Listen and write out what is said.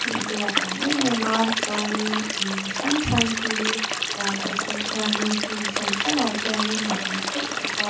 thing te a tam em em a chuanin in hrang hrang hi ral khat atang hianin hmun hran hranah hianin a awm teuh bawk a.